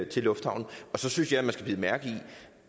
til lufthavnen så synes jeg at man skal bide mærke i